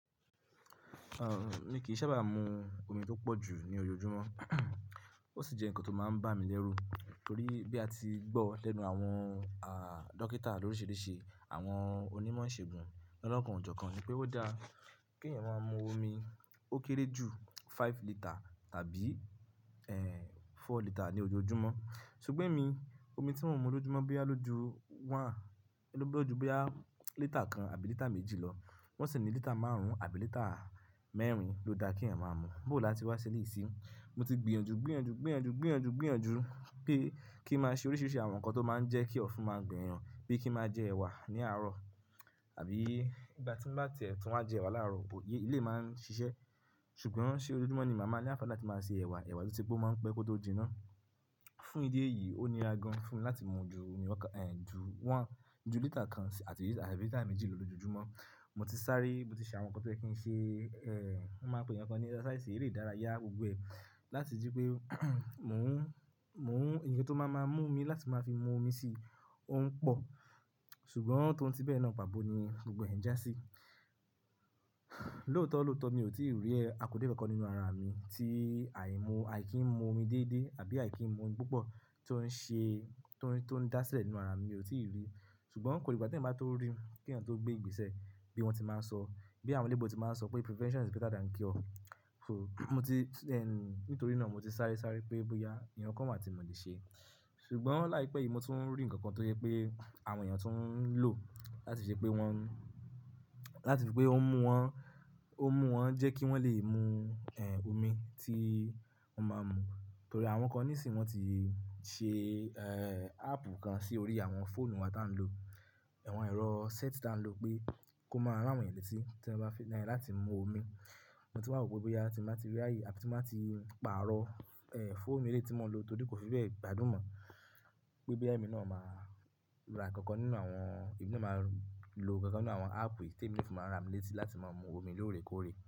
Rárán mi kì í sábà mu omi tó pọ̀ jù ní ojoojúmọ́, ó sì jẹ nǹkan tó máa ń bà mí lẹ́rú torí bí a ti gbọ́ lẹ́nu àwọn, àh, dókítà lórisirisi, àwọn onímọ̀ ìṣègùn, lọlọ́kàn ojókan, wipé ó dá kí ẹ̀yàn máa mu omi ó kéré jù five lítà tàbí, ẹ́h, four lítà ní ojoojúmọ́. Ṣùgbọ́n èmi omi tí mò ń mu lójoojúmọ́ bóyá ló ju one, ló bá ju bóyá litre kan àbí litre méjì lọ, wọ́n sì ní litre márùn-ún àbí litre mẹ́rin ló dá kí ẹ̀yàn máa mú, bó là ti wá ṣẹ́lẹ̀ yìí sí. Mo ti gbìyànjú, gbìyànjú, gbìyànjú, gbìyànjú, gbìyànjú pé kí máa ṣe oríṣiríṣi àwọn nǹkan tó máa ń jẹ́ kí ọ̀fun máa gbẹ ẹ̀yàn bíi kí máa jẹ ẹ̀wà ní àárọ̀ àbí ìgbà tí n bá ti e tùn wa jẹ ẹ̀wà láàárọ̀, bó yé ilé máa ń ṣiṣẹ́. Ṣùgbọ́n ṣe ojoojúmọ́ ni màá máa ní àǹfààní láti máa ṣe ẹ̀wà, ẹ̀wà tí ó ti gbó máa ń pẹ́ kó tó jiná. Fún ìdí èyí, ó níra gan fún mi láti mu ju omi wọ́n kan, ẹ́h, ju one, ju litre kan àti àbí litre méjì lọ lójoojúmọ́. Mo ti sáré, mo ti ṣe àwọn nǹkan tó yẹ kí n ṣe, ẹ́h, wọ́n máa pè ǹkan kan ní exercise eré ìdárayá gbogbo ẹ̀, láti jí pé mò ń, mò ń, ǹkan tó máa máa mú mi láti máa fi mu omi sí ò ń pọ̀. Ṣùgbọ́n tòun ti bẹ́ẹ̀ náà, pà bo ni gbogbo ẹ̀ ń jásí. Lóòótọ́ lóòótọ́ mi ò tí ì rí ẹ àkódero kan nínú ara mi tí àìmú, àì kí ń mu omi dédé àbí àì kí ń mu ú púpọ̀ tó ń ṣe, tó ń dá sílẹ̀ nínú ara mi, mi ò tí ì rí. Ṣùgbọ́n kò rí, ìgbà tí n bá tó rí, kí ẹ̀yàn tó gbé ìgbésẹ̀ bí wọ́n ti máa ń sọ, bí àwọn elébo ti máa ń sọ pé "prevention is better than cure". So, mo ti, then nítorí náà mo ti sáré sáré pé bóyá ǹkan kan màá ti mọ̀ lè ṣe. Ṣùgbọ́n láìpẹ́ yìí mo tún ń rí ǹkan kan tó jẹ pé àwọn èèyàn tó ń lò láti ṣe pé wọ́n, láti fi pé ó ń mú wọn, ó ń mú wọn jẹ́ kí wọ́n lè mu, ẹ́h, omi tí wọ́n máa ń mu. Torí àwọn kan nísìnyí wọ́n ti ṣe, ẹ́h, app kan sí orí àwọn fóònù wa tí à ń lò, àwọn ẹ̀rọ set tí à ń lò pé kó máa ràwọn èyàn létí tí wọ́n bá fẹ́ láti mu omi. Mo tí máa mọ pé bóyá tí màá ti rí ayé àti tí màá ti pààrọ̀, ẹ́h, fóòmù eléyìí tí mò ń lò torí kò fi bẹ́ẹ̀ gbádùn mọ̀ wípé ẹ́mi náà máa ra ǹkan kan nínú àwọn, èmi náà máa lo ǹkan kan nínú àwọn app èyí tí èmi fún máa rà mí létí láti máa mu omi lóòrèkóòrè.